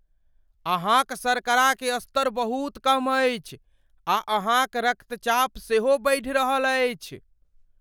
अहाँक शर्करा के स्तर बहुत कम अछि, आ अहाँक रक्तचाप सेहो बढ़ि रहल अछि।